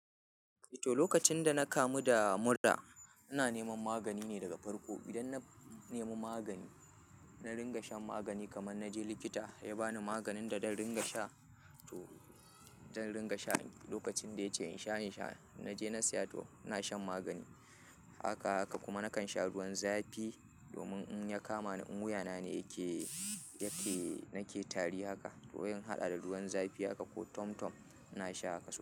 To lokacin da na kamu da mura, ina neman magani ne daga farko. Idan na nemi magani, na ringa shan magani kaman naje likita ya ba ni maganin da zan ringa sha. To zan ringa sha lokacin da ya ce in sha, in sha. Na je na saya, to ina shan magani. Haka haka kuma nakan sha ruwan zafi domin in ya kama ni in wuya na ne yake, yake nake tari haka. To se in haɗa da ruwan zafi haka ko tomtom ina sha haka so.